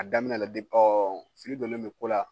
A daminɛ la ɔ fili donnen don ko la